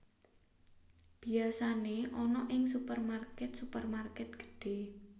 Biyasane ana ing supermarket supermarket gedhe